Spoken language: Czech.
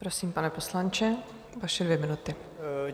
Prosím, pane poslanče, vaše dvě minuty.